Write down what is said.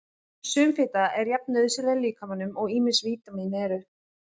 Sum fita er jafn nauðsynleg líkamanum og ýmis vítamín eru.